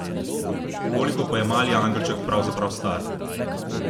Koliko pa je mali angelček pravzaprav star?